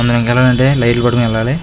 మనము ఎక్కాలంటే లైట్లు పట్టుకొని వెళ్ళాలి.